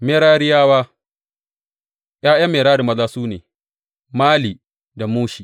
Merariyawa ’Ya’yan Merari maza su ne, Mali da Mushi.